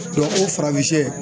o farafin shɛ